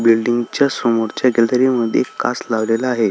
बिल्डींगच्या समोरच्या गॅलरी मध्ये एक काच लावलेला आहे.